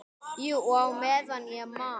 Jú, og meðan ég man.